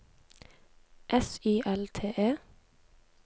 S Y L T E